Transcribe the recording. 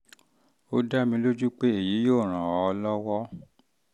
ó dá mi lójú pé èyí yóò ràn èyí yóò ràn ọ́ lọ́wọ́